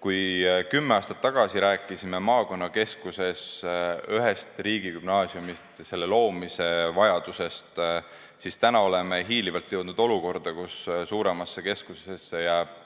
Kui me kümme aastat tagasi rääkisime maakonnakeskuses ühest riigigümnaasiumist ja selle loomise vajadusest, siis täna oleme hiilivalt jõudnud olukorda, kus suuremasse keskusesse jääb